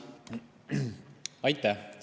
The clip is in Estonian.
Aitäh!